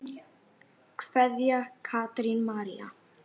Kveðja, Katrín María.